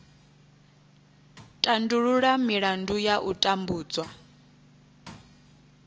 tandulula milandu ya u tambudzwa